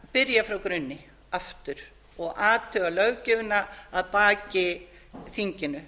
byrja frá grunni aftur og athuga löggjöfina að baki þinginu